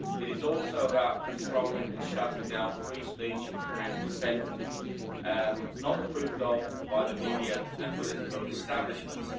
It is also about controlling and shutting down free speech and dissent not approved of by the media and political establishments.